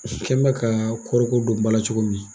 I kɛ n bɛ ka kɔɔriko don ba la cogo min